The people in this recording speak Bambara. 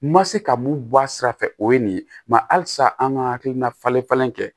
Ma se ka mun bɔ a sira fɛ o ye nin ye mɛ halisa an ka hakilina falen falen kɛ